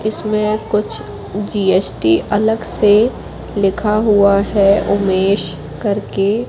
जिसमें कुछ जी_एस_टी अलग से लिखा हुआ है उमेश करके--